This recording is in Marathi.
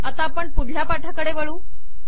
आता आपण पुढल्या पाठाकडे वळू